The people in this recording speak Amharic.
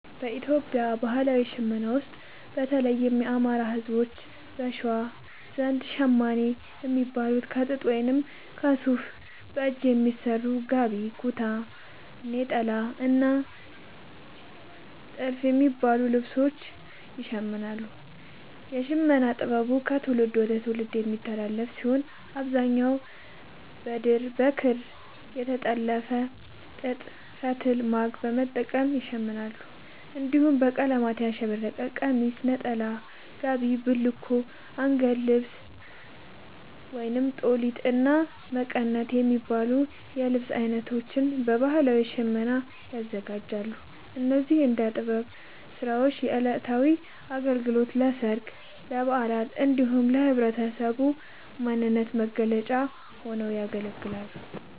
በኢትዮጵያ ባህላዊ ሽመና ውስጥ፣ በተለይም የአማራ፣ ህዝቦች(በሸዋ) ዘንድ ‘ሸማኔ’ የሚባሉት ከጥጥ ወይም ከሱፍ በእጅ በሚሰሩ ‘ጋቢ’፣ ‘ኩታ’፣ ‘ኔጣላ’ እና ‘ቲልፍ’ የሚባሉ ልብሶችን ይሽምናሉ። የሽመና ጥበቡ ከትውልድ ወደ ትውልድ የሚተላለፍ ሲሆን፣ በአብዛኛው በድር፣ በክር፣ በተፈተለ ጥጥ ፈትል(ማግ) በመጠቀም ይሸምናሉ። እንዲሁም በቀለማት ያሸበረቀ ቀሚስ፣ ነጠላ፣ ጋቢ፣ ቡልኮ፣ አንገት ልብስ(ጦሊት)፣እና መቀነት የሚባሉ የልብስ አይነቶችን በባህላዊ ሽመና ያዘጋጃሉ። እነዚህ የእደ ጥበብ ስራዎች ለዕለታዊ አገልግሎት፣ ለሠርግ፣ ለበዓላት እንዲሁም ለህብረተሰቡ ማንነት መገለጫ ሆነው ያገለግላሉ።